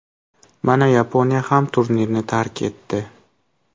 Mana Yaponiya ham turnirni tark etdi.